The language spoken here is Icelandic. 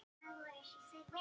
Sagði að þið skrifuðust á.